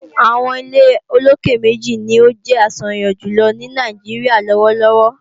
àwọn ilé olókè méjì ni ó jẹ́ àṣàyàn jùlọ ní Nàìjíríà lọ́wọ́lọ́wọ́.